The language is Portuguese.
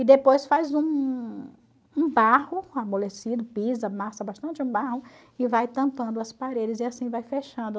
E depois faz um um barro amolecido, pisa, amassa bastante um barro e vai tampando as paredes e assim vai fechando.